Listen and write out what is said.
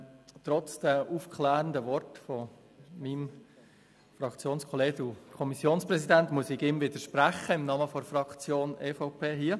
Trotz der aufklärenden Worte von Grossrat Wenger muss ich ihm im Namen der EVP-Fraktion widersprechen.